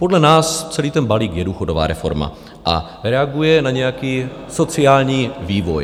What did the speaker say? Podle nás celý ten balík je důchodová reforma a reaguje na nějaký sociální vývoj.